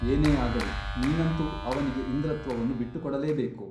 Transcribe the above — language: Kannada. ಏನೇ ಆಗಲಿ ನೀನಂತೂ ಅವನಿಗೆ ಇಂದ್ರತ್ವವನ್ನು ಬಿಟ್ಟುಕೊಡಲೇಬೇಕು.